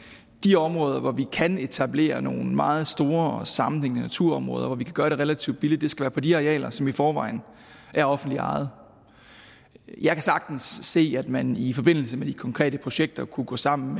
de områder hvor vi kan etablere nogle meget store og sammenhængende naturområder og hvor vi kan gøre det relativt billigt det skal være på de arealer som i forvejen er offentligt ejet jeg kan sagtens se at man i forbindelse med de konkrete projekter kunne gå sammen